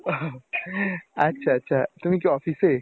আচ্ছা আচ্ছা তুমি কি office এ?